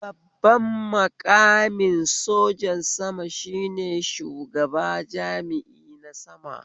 Babban maƙamin sojan sama shine shugaba jami'i na sama